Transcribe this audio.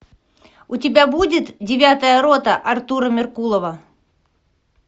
у тебя будет девятая рота артура меркулова